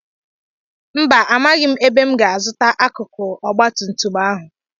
mba, Amaghị m ebe m ga-azụta akụkụ ọgba tum tum ahụ